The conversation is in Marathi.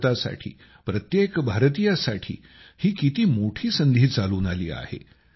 भारतासाठी प्रत्येक भारतीयासाठी ही किती मोठी संधी चालून आली आहे